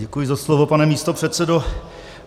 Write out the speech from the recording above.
Děkuji za slovo, pane místopředsedo.